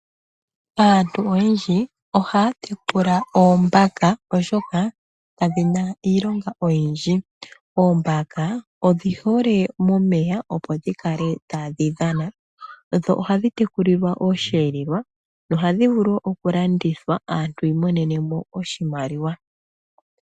Aantu oyendji ohaa tekula oombaka oshoka kadhina iilonga oyindji. Oombaka odhi hole momeya opo dhi kale tadhi dhana. Dho ohadhi tekulilwa osheelelwa dho ohadhi vulu wo oku landwa aantu yi imonene mo oshimaliwa.